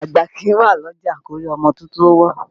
Àgbà kìí wà lọ́jà kórí ọmọ tuntun wọ́